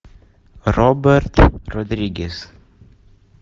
роберт родригес